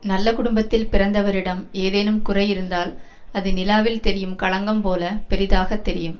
நல்ல குடும்பத்தில் பிறந்தவரிடம் ஏதேனும் குறை இருந்தால் அது நிலாவில் தெரியும் களங்கம் போல பெரிதாகத் தெரியும்